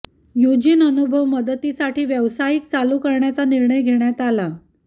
Eugene अनुभव मदतीसाठी व्यावसायिक चालू करण्याचा निर्णय घेण्यात आला